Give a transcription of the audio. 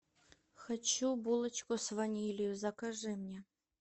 хочу булочку с ванилью закажи мне